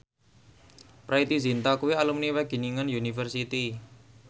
Preity Zinta kuwi alumni Wageningen University